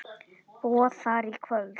Boð þar í kvöld.